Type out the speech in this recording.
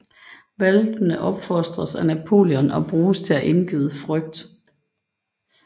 Hvalpene opfostres af Napoleon og bruges til at indgyde frygt